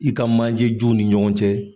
I ka manjejuw ni ɲɔgɔn cɛ.